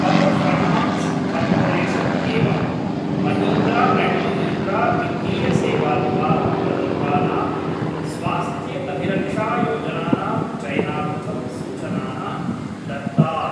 Power finance corporation एवं Mahindra and Mahindra वित्तीय सेवा द्वारा प्रदत्तानां स्वास्थ्यअभिरक्षायोजनानां चयनार्थं सूचनाः दत्तात्।